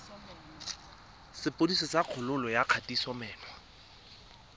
sepodisi sa kgololo ya kgatisomenwa